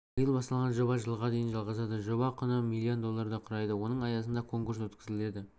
биыл басталған жоба жылға дейін жалғасады жоба құны миллион долларды құрайды оның аясында конкурс өткізіледі